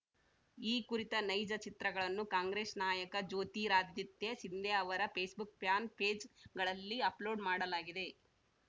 ಈ ಕುರಿತ ನೈಜ ಚಿತ್ರಗಳನ್ನು ಕಾಂಗ್ರೆಸ್‌ ನಾಯಕ ಜ್ಯೋತಿರಾದಿತ್ಯ ಸಿಂದ್ಯಾ ಅವರ ಪೇಸ್‌ಬುಕ್‌ ಪ್ಯಾನ್‌ ಪೇಜ್‌ಗಳಲ್ಲಿ ಅಪ್‌ಲೋಡ್‌ ಮಾಡಲಾಗಿದೆ